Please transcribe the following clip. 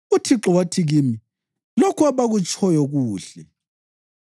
UThixo wathi kimi: ‘Lokho abakutshoyo kuhle.